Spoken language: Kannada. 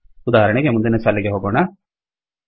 ಉದಾಹರಣೆಗೆ ಮುಂದಿನ ಸಾಲಿಗೆ ಹೋಗೋಣ